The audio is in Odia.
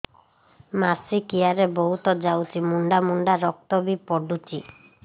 ମାସିକିଆ ରେ ବହୁତ ଯାଉଛି ମୁଣ୍ଡା ମୁଣ୍ଡା ରକ୍ତ ବି ପଡୁଛି